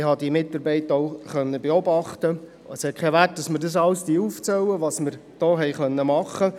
Es ist hier nicht der Ort, alles aufzuzählen, was wir machen konnten.